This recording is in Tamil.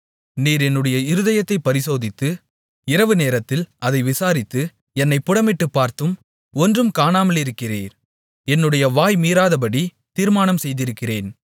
நீர் என்னுடைய இருதயத்தைப் பரிசோதித்து இரவுநேரத்தில் அதை விசாரித்து என்னைப் புடமிட்டுப்பார்த்தும் ஒன்றும் காணாமலிருக்கிறீர் என்னுடைய வாய் மீறாதபடி தீர்மானம் செய்திருக்கிறேன்